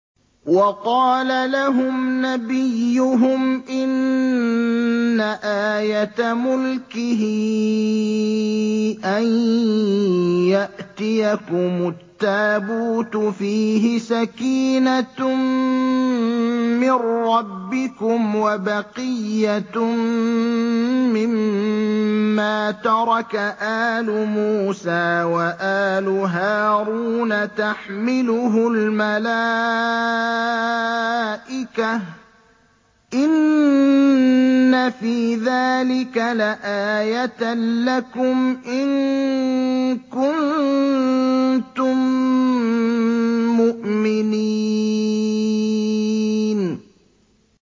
وَقَالَ لَهُمْ نَبِيُّهُمْ إِنَّ آيَةَ مُلْكِهِ أَن يَأْتِيَكُمُ التَّابُوتُ فِيهِ سَكِينَةٌ مِّن رَّبِّكُمْ وَبَقِيَّةٌ مِّمَّا تَرَكَ آلُ مُوسَىٰ وَآلُ هَارُونَ تَحْمِلُهُ الْمَلَائِكَةُ ۚ إِنَّ فِي ذَٰلِكَ لَآيَةً لَّكُمْ إِن كُنتُم مُّؤْمِنِينَ